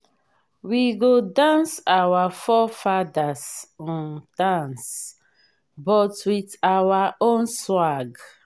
we go dance our forefathers um dance but with our own swag.